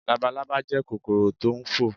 Labalábá jẹ́ kòkòrò tò n fò